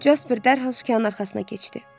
Jasper dərhal sükanın arxasına keçdi.